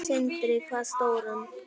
Sindri: Hvað stóran?